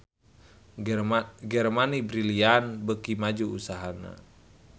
Germany Brilliant beuki maju usahana